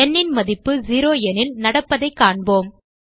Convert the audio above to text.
ந் ன் மதிப்பு 0 எனில் நடப்பதைக் காண்போம்